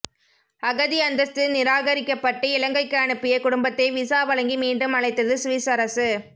அகதி அந்தஸ்து நிராகரிக்கபட்டு இலங்கைக்கு அனுப்பிய குடும்பத்தை விசா வழங்கி மீண்டும் அழைத்தது சுவிஸ் அரசு